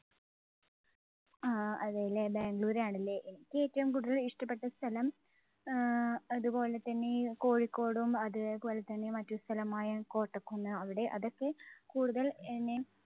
ആ, അതല്ലേ? ബാംഗ്ലൂരാണല്ലേ? എനിക്ക് ഏറ്റവും കൂടുതൽ ഇഷ്ടപ്പെട്ട സ്ഥലം ആഹ് അതുപോലെതന്നെ കോഴിക്കോടും അതേപോലെതന്നെ മറ്റ് സ്ഥലമായ കോട്ടക്കുന്ന് അവിടെ അതൊക്കെ കൂടുതൽ എന്നെ